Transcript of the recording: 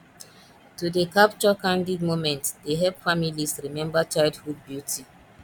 to dey capture candid moments dey help families remember childhood beauty